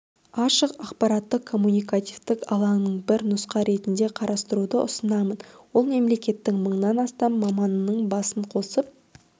ашық ақпараттық-коммуникативтік алаңын бір нұсқа ретінде қарастыруды ұсынамын ол мемлекеттің мыңнан астам маманының басын қосып